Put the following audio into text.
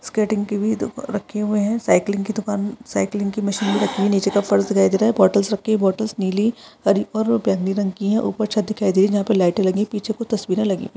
skating की भी दु रखी हुई है साइकलिंग की दुकान साइकलिंग की मशीन रखी है नीचे दिखाई दे रहा है बॉटल्स रखी है बॉटल्स नीली हरी और बैंगनी रंग की है और ऊपर छत दिखाई दे रही है जहां पे लाइटें लगी है पीछे कुछ तस्वीरे लगी--